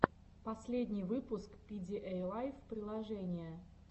последний выпуск пидиэйлайф приложения